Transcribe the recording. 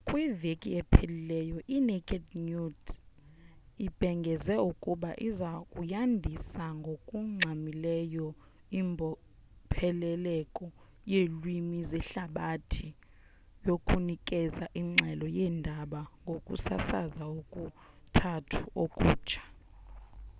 kwiveki ephelileyo inaked news ibhengeze ukuba iza kuyandisa ngokungxamileyo imbopheleleko yeelwimi zehlabathi yokunikeza ingxelo yendaba ngokusasaza okuthathu okutsha